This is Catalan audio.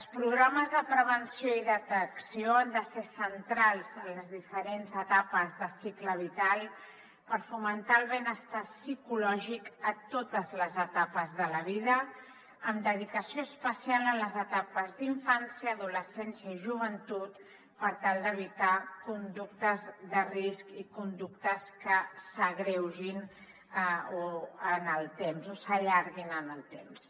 els programes de prevenció i detecció han de ser centrals en les diferents etapes de cicle vital per fomentar el benestar psicològic a totes les etapes de la vida amb dedicació especial en les etapes d’infància adolescència i joventut per tal d’evitar conductes de risc i conductes que s’agreugin amb el temps o s’allarguin en el temps